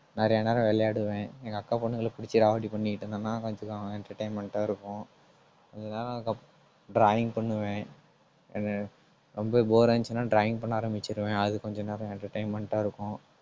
நிறையா நேரம் விளையாடுவேன். எங்க அக்கா பொண்ணுங்களை பிடிச்சு ராவடி பண்ணிட்டு இருந்தான்னா கொஞ்சம் entertainment ஆ இருக்கும். drawing பண்ணுவேன். என்ன ரொம்ப bore ஆ இருந்துச்சுன்னா drawing பண்ண ஆரம்பிச்சிருவேன். அது கொஞ்ச நேரம் entertainment ஆ இருக்கும்